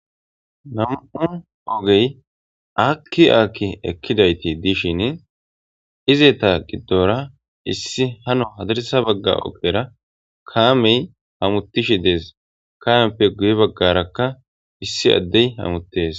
Nam'u ogey akki aakki ekkidayti diishin izeta giddora issi hano hadarisa bagga ogera kaamey hamutishi dees kaameppe guye baggarakka issi addey hamuttees.